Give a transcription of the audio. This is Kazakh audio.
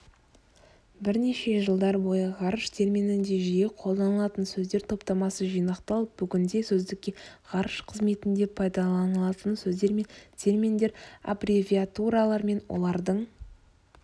бірнеше жылдар бойы ғарыш терминінде жиі қолданылатын сөздер топтамасы жинақталып бүгінде сөздікке ғарыш қызметінде пайдаланылатын сөздер мен терминдер аббревиатуралар мен олардың